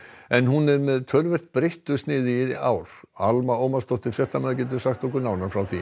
en hún er með töluvert breyttu sniði í ár Alma Ómarsdóttir fréttamaður getur sagt okkur nánar frá því